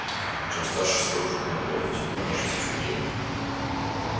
чем старше старушка на болоте тем кажется чуднее